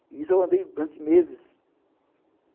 E isso eu andei durante meses.